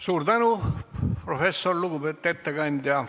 Suur tänu, professor, lugupeetud ettekandja!